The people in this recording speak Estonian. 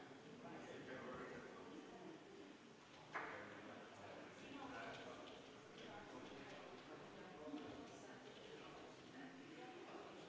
Te võite kohale minna.